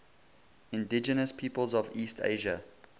indigenous peoples of east asia